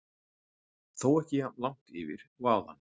Þó ekki jafn langt yfir og áðan.